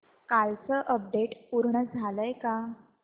कालचं अपडेट पूर्ण झालंय का